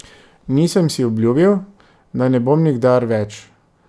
Nisem si obljubil, da ne bom nikdar več.